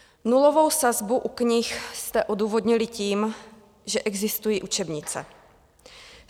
Nulovou sazbu u knih jste odůvodnili tím, že existují učebnice.